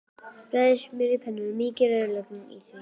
Bræðið smjör á pönnu og mýkið rauðlaukinn í því.